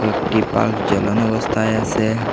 একটি পাস জ্বালানো অবস্থায় আসে।